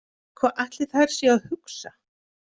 Hvað ætli þær séu að hugsa?